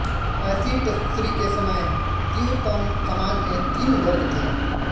टैसीटसृ के समय त्यूतन समाज में तीन वर्ग थे